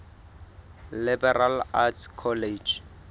liberal arts college